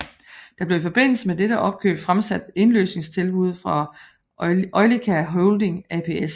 Der blev i forbindelse med dette opkøb fremsat indløsningstilbud fra Eolica Holding ApS